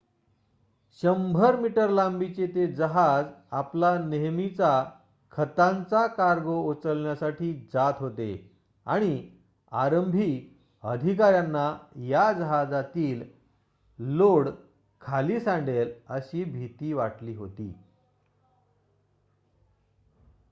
100-मीटर लांबीचे ते जहाज आपला नेहमीचा खतांचा कार्गो उचलण्यासाठी जात होते आणि आरंभी अधिकाऱ्यांना या जहाजातील लोड खाली सांडेल अशी भिती वाटली होती